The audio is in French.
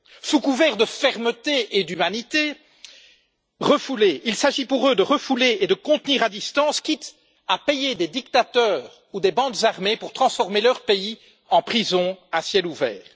Sous couvert de fermeté et d'humanité, il s'agit pour eux de refouler et de contenir à distance, quitte à payer des dictateurs ou des bandes armées pour transformer leur pays en prison à ciel ouvert.